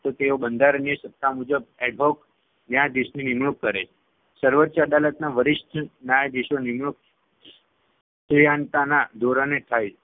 તો તેઓ બંધારણીય સત્તા મુજબ adhoc ન્યાયાધીશની નિમણુક કરે છે. સર્વોચ્ય અદાલતના વરિષ્ઠ ન્યાયાધીશોની નિમણુક જ્ઞાનતાના ધોરણે થાય છે